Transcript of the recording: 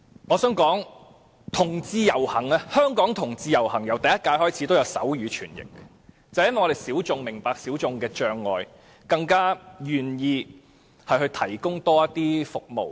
我想指出，香港同志遊行由第一屆開始已提供手語傳譯服務，正因為我們是小眾，所以明白小眾的障礙，更願意提供多一些服務。